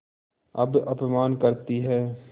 अब अपमान करतीं हैं